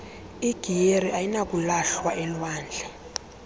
igiyeri ayinakulahlwa elwandle